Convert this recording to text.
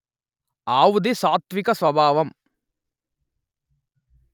ఆవుది సాత్త్విక స్వభావం